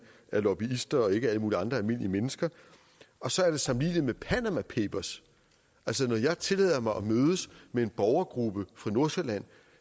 er lobbyister og ikke alle mulige andre almindelige mennesker og så er det sammenligneligt med panama papers altså når jeg tillader mig at mødes med en borgergruppe fra nordsjælland